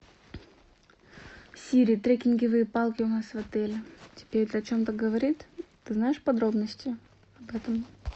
сири трекинговые палки у нас в отеле тебе это о чем то говорит ты знаешь подробности об этом